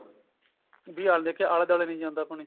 ਵੀ ਆਲੇ ਦੇਖਿਆ ਆਲੇ ਦੁਆਲੇ ਨੀ ਜਾਂਦਾ ਪਾਣੀ